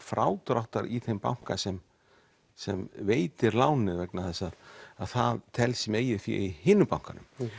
frádráttar í þeim banka sem sem veitir lánið vegna þess að það telst sem eigið fé í hinum bankanum